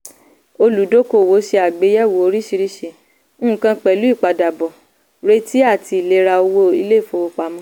olùdókòwò ṣe àgbéyẹ̀wò oríṣiríṣi nkan pẹ̀lú ìpadàbọ̀ retí àti ìlera owó ilé-ìfowópamọ́.